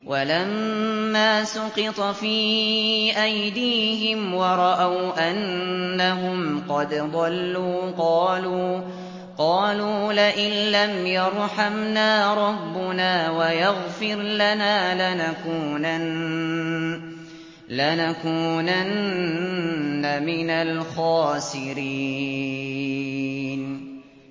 وَلَمَّا سُقِطَ فِي أَيْدِيهِمْ وَرَأَوْا أَنَّهُمْ قَدْ ضَلُّوا قَالُوا لَئِن لَّمْ يَرْحَمْنَا رَبُّنَا وَيَغْفِرْ لَنَا لَنَكُونَنَّ مِنَ الْخَاسِرِينَ